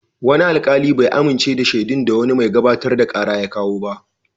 Wani alkali bai amince da shaidun da wani mai gabatar da kara ya kawo ba.